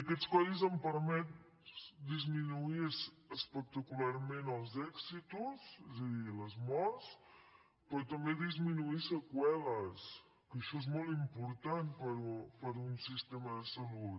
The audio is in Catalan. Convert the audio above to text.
aquests codis han permès disminuir espectacularment els èxitus és a dir les morts però també disminuir seqüeles que això és molt important per a un sistema de salut